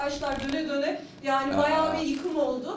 Araçlar dönə-dönə, yəni bayağı bir yıkım oldu.